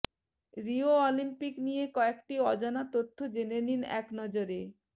Rio Olympic নিয়ে কয়েকটি অজানা তথ্য জেনে নিন একনজরে